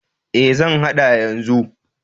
E, zan haɗa yanzu.